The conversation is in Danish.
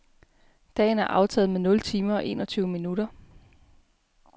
Dagen er aftaget med nul timer og enogtyve minutter.